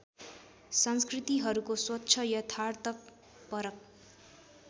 संस्कृतिहरूको स्वच्छ यथार्थपरक